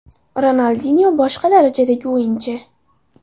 Ronaldinyo – boshqa darajadagi o‘yinchi.